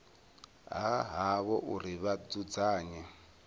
ha havho uri vha dzudzanye